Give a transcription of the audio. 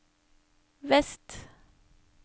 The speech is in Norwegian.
vest